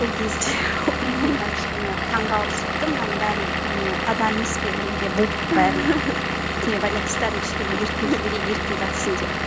сол кезде ол мында кішкене таңғалып сөйтті мынаның бәрін не адам емес пе оны неге буып бәрін не байлап тастадың кішкене еркін жіберейік еркін жатсын деп